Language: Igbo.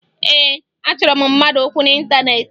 Ee, achọrọ m mmadụ okwu n'ịntaneetị